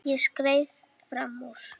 Ég skreið fram úr.